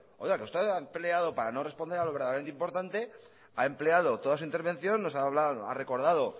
que usted ha empleado para no responder a lo verdaderamente importante ha empleado toda su intervención nos ha hablado y ha recordado